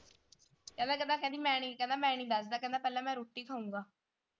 ਕਹਿੰਦਾ ਕਹਿੰਦਾ ਕਹਿੰਦੀ ਮੈਂ ਨੀ ਦਸਦਾ ਕਹਿੰਦਾ ਪਹਿਲਾਂ ਮੈਂ ਰੋਟੀ ਖਾਊਂਗਾ।